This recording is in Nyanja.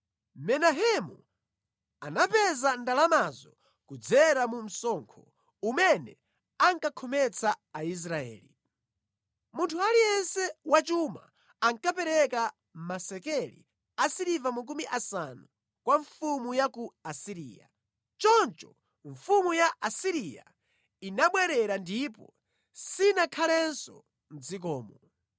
Menahemu anapeza ndalamazo kudzera mu msonkho umene ankakhometsa Aisraeli. Munthu aliyense wachuma ankapereka masekeli a siliva makumi asanu kwa mfumu ya ku Asiriya. Choncho mfumu ya ku Asiriya inabwerera ndipo sinakhalenso mʼdzikomo.